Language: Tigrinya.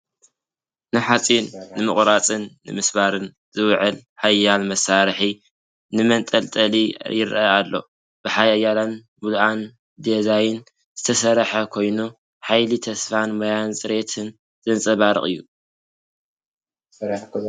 ንሓጺን ንምቑራጽን ንምስባርን ዝውዕል ሓያል መሳርሒ መንጠልጠሊ ይረአ ኣሎ፤ ብሓያልን ምሉእን ዲዛይን ዝተሰርሐ ኮይኑ፡ ሓይሊ ተስፋን ሞያዊ ጽሬትን ዘንጸባርቕ እዩ።